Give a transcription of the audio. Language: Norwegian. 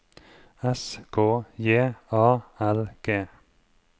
S K J A L G